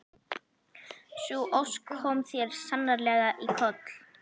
Sú ósk kom þér sannarlega í koll.